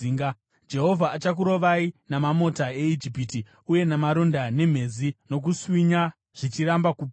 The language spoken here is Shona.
Jehovha achakurovai namamota eIjipiti uye namaronda, nemhezi nokuswinya zvicharamba kupora.